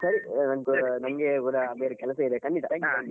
ಸರಿ ನಮ್ಗೆ ಕೂಡ ಸ್ವಲ್ಪಬೇರೆ ಕೆಲಸ ಇದೆ ಖಂಡಿತಾ .